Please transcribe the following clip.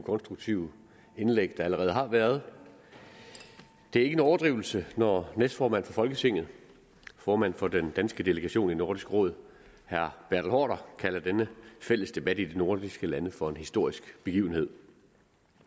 konstruktive indlæg der allerede har været det er ikke en overdrivelse når næstformanden for folketinget formanden for den danske delegation i nordisk råd herre bertel haarder kalder denne fælles debat i de nordiske lande for en historisk begivenhed